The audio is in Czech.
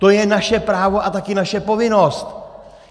To je naše právo a taky naše povinnost.